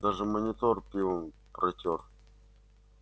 даже монитор пивом протёр